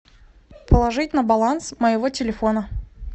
положить на баланс моего телефона